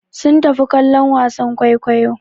Sun tafi kallon wasan kwaikwayo.